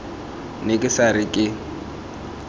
ne ke sa re ke